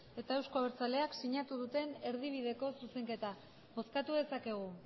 eta euzko abertzaleak sinatu duten erdibideko zuzenketa bozkatu dezakegu